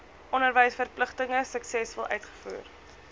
onderwysverpligtinge suksesvol uitvoer